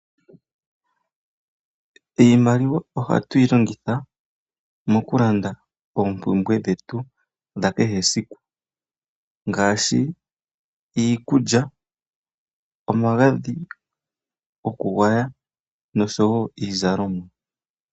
Iimaliwa ohatuyi longitha mokulanda oompumbwe dhetu dhakehe esiku, ngaashi; iikulya, omagadhi gokugwaya, noshowo iizalomwa.